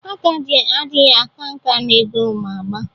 Agadi adighi aka nka n'egwu Oma agba...